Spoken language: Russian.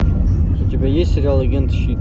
у тебя есть сериал агенты щит